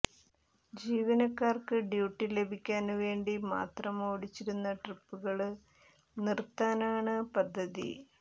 ജീവനക്കാര്ക്ക് duty ലഭിക്കാന് വേണ്ടി മാത്രം ഓടിച്ചിരുന്ന ട്രിപ്പുകള് നിര്ത്താനാണ് പദ്ധതി